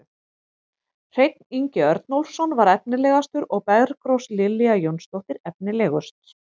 Hreinn Ingi Örnólfsson var efnilegastur og Bergrós Lilja Jónsdóttir efnilegust.